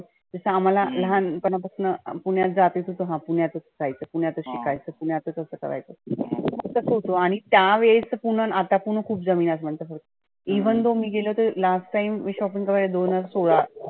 जसं आम्हाला लहान पणा पसनं पुण्यात जाते तसं हं पुण्यातच रहायचं पुण्यातच शिकायच, पुण्यातच असं तसं करायचं. आणि त्या वेळेस च पुणं आणि आताच पुणं खुप जमीन आसमानच फरक आहे. even though मी गेले होते last time मी shopping करायला दोनहजार सोळा